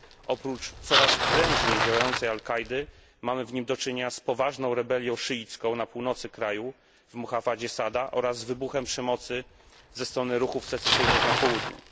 Oprócz coraz prężniej działającej al Kaidy, mamy w nim do czynienia z poważną rebelią szyicką na północy kraju w prowincji Sada oraz wybuchem przemocy ze strony ruchów secesyjnych na południu.